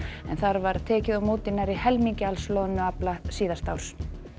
en þar var tekið á móti nærri helmingi alls loðnuafla síðasta árs